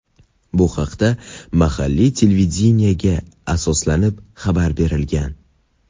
Bu haqda mahalliy televideniyega asoslanib xabar berilgan.